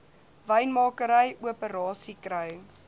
wynmakery operasies kry